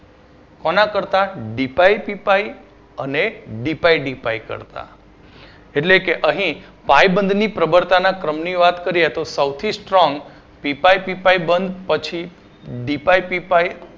કોના કરતાં D pi P pi અને ડી પાઇ ડી પાઇ કરતાં એટલે કે અહી પાઇ બંધ ની પ્રબળતા ના ક્રમ ની વાત કરીએ તો સૌથી strong P pi P pi બંધ પછી ડી પાઇ પી પાઇ